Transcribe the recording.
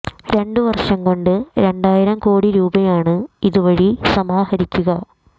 രണ്ട് വര്ഷം കൊണ്ടു രണ്ടായിരം കോടി രൂപയാണ് ഇതുവഴി സമാഹരിക്കുക